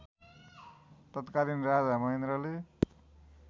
तत्कालीन राजा महेन्द्रले